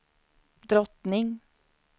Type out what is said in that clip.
drottning